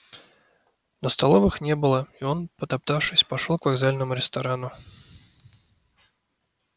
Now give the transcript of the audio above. но столовых не было и он потоптавшись пошёл к вокзальному ресторану